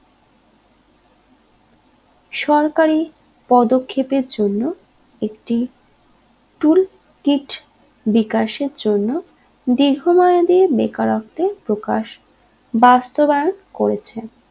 সরকারি পদক্ষেপের জন্য একটি tool kit বিকাশের জন্য দীর্ঘ মেয়াদি বেকারত্বে প্রকাশ বাস্তবায়ন করেছে